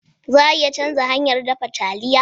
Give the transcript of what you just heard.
Za a iya canza hanyar dafa taliya?